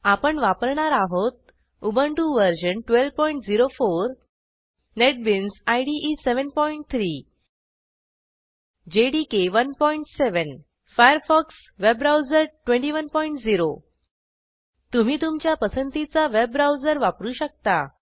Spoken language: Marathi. आपण वापरणार आहोत Ubuntu version 1204 NetBeans IDE 73 JDK 17 Firefox web browser 210 तुम्ही तुमच्या पसंतीचा वेब ब्राऊजर वापरू शकता